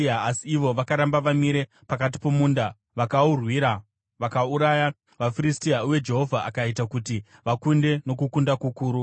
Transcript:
Asi ivo vakaramba vamire pakati pomunda vakaurwira vakauraya vaFiristia uye Jehovha akaita kuti vakunde nokukunda kukuru.